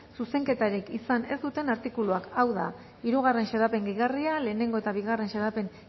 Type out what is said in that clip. zuzenketarik izan ez duten artikuluak hau da hirugarren xedapen gehigarria lehenengo eta bigarren xedapen